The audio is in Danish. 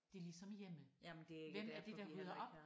Det ligesom hjemme. Hvem er det der rydder op